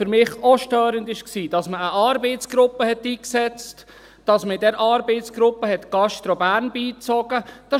Für mich war auch störend, dass man eine Arbeitsgruppe eingesetzt hat, dass man in diese Arbeitsgruppe GastroBern beigezogen hat.